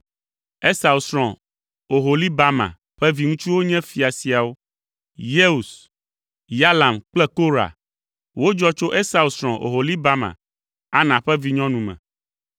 Esau srɔ̃ Oholibama ƒe viŋutsuwo nye fia siawo: Yeus, Yalam kple Korah. Wodzɔ tso Esau srɔ̃ Oholibama, Ana ƒe vinyɔnu me.